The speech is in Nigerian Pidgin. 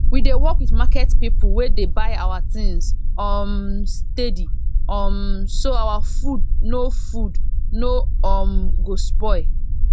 we dey work with market people wey dey buy our things um steady um so our food no food no um go spoil